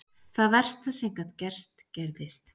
Það versta sem gat gerst gerðist.